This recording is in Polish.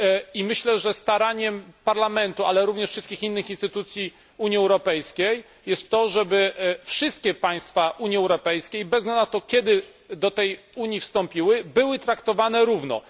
I myślę, że zadaniem Parlamentu, ale również wszystkich innych instytucji Unii Europejskiej jest to, żeby wszystkie państwa Unii Europejskiej, bez względu na to, kiedy do tej Unii wstąpiły, były traktowane równo.